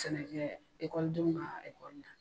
Sɛnɛkɛ denw ka ale kɔnia.